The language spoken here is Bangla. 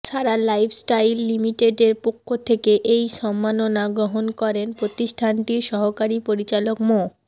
সারা লাইফস্টাইল লিমিটেডের পক্ষ থেকে এই সম্মাননা গ্রহণ করেন প্রতিষ্ঠানটির সহকারী পরিচালক মো